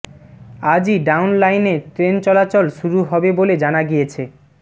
আজই ডাউন লাইনে ট্রেন চলাচল শুরু হবে বলে জানা গিয়েছে